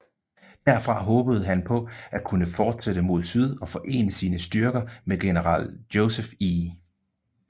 Derfra håbede han på at kunne fortsætte mod syd og forene sine styrker med general Joseph E